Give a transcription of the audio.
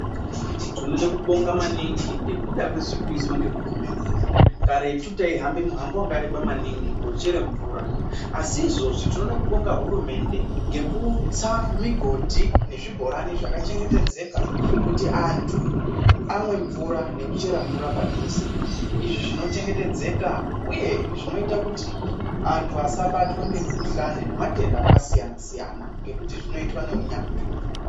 Tinoda kubonga maningi ngekuda kwezviri kuizwa nehurumende. Karetu taihambe muhambo wakareba maningi kochere mvura asi izvozvi tinoda kubonga hurumende ngekutsa migodhi nezvibhorani zvakachengetedzeka kuti antu amwe mvura nekuchera mvura padhuze izvo zvinochengetedzeka uye zvinoita kuti antu asabatwe nemikhuhlane nematenda akasiyana siyana nekuti zvinoitwa neunyanzvi.